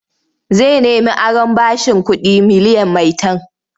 Zai nemi aron bashin kuɗi miliyan maitan.